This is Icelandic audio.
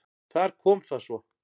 Þar kom það svo!